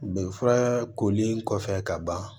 Bi fura koli kɔfɛ ka ban